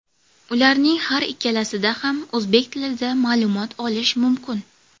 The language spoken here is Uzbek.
Ularning har ikkalasida ham o‘zbek tilida ma’lumot olish mumkin.